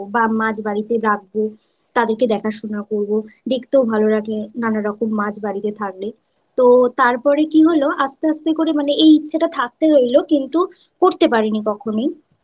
বা মাছ বাড়িতে রাখব তাদেরকে দেখাশোনা করব দেখতেও ভালো লাগে নানা রকম মাছ বাড়িতে থাকলে তো তারপরে কি হলো আস্তে আস্তে করে মানে এই ইচ্ছাটা থাকতে রইল কিন্তু করতে পারিনি কখনোই